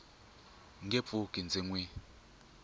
nge pfuki ndzi n wi